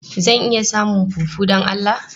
Zan iya samun fufu don Allah?